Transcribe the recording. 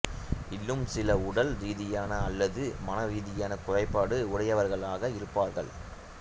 இன்னும் சில உடல் ரீதியான அல்லது மன ரீதியான குறைபாடு உடையவர்களாக இருப்பார்கள்